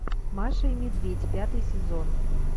маша и медведь пятый сезон